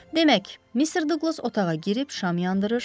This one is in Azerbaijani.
Demək, Missis Duqlas otağa girib şam yandırır.